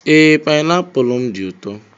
Ee, painapụl m dị ụtọ.